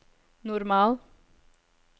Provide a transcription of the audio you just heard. normal